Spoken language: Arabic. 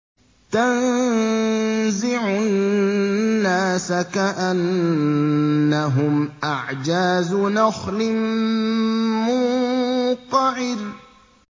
تَنزِعُ النَّاسَ كَأَنَّهُمْ أَعْجَازُ نَخْلٍ مُّنقَعِرٍ